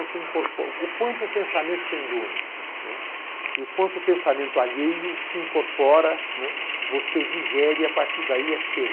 Você, O quanto o pensamento tem dono não é, e o quanto o pensamento alheio se incorpora não é, você o digere e, a partir daí, é seu.